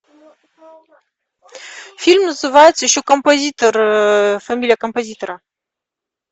фильм называется еще композитор фамилия композитора